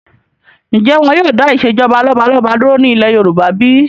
Ǹjẹ́ wọn yìí ó dà ìsèjọba lọ́balọ́ba dúró ní ilé Yorùbá bí?